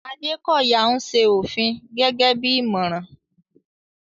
Adekoya ń ṣe òfin gẹ́gẹ́ bí ìmọ̀ràn.